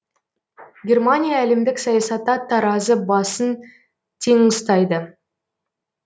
германия әлемдік саясатта таразы басын тең ұстайды